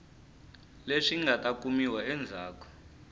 leswi nga ta kumiwa endzhaku